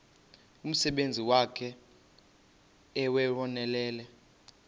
umsebenzi wakhe ewunonelele